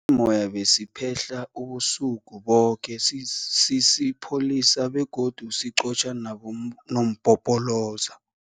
moya besiphehla ubusuku boke sisipholisa begodu siqotjha nabonompopoloza.